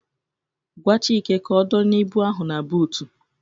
Gwa Chike ka odonye ịbụ ahụ n'butu